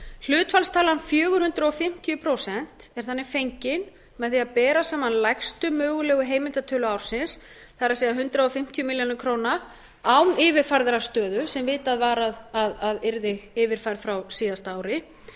hlutfallstalan fjögur hundruð fimmtíu prósent er þannig fengin með því að bera saman lægstu mögulega heimildartölu ársins það er hundrað fimmtíu milljónir króna án yfirfærðrar stöðu sem vitað var að yrði yfirfærð frá síðasta ári